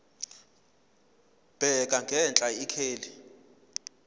bheka ngenhla ikheli